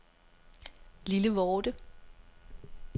Lillevorde